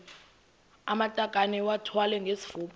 amatakane iwathwale ngesifuba